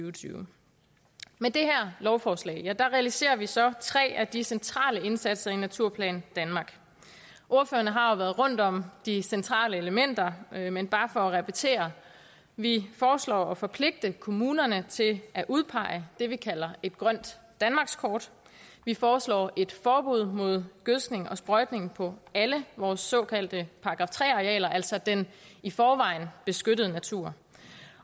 og tyve med det her lovforslag realiserer vi så tre af de centrale indsatser i naturplan danmark ordføreren har jo været rundt om de centrale elementer men bare for at repetere vi foreslår at forpligte kommunerne til at udpege det vi kalder grønt danmarkskort vi foreslår et forbud mod gødskning og sprøjtning på alle vores såkaldte § tre arealer altså den i forvejen beskyttede natur